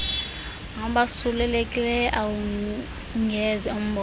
abasulelekileyo awungeze umbone